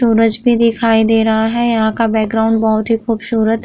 सूरज भी दिखाई दे रहा है। यहाँ का बैकग्राउंड बहुत ही खूबसूरत --